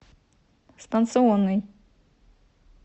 станционный